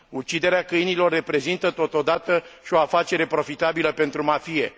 Uciderea câinilor reprezintă, totodată, o afacere profitabilă pentru mafie.